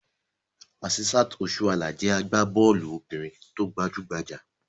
Asisat Osuala jẹ́ agbá-bọ́ọ́lù obìnrin tó gbajú-gbajà.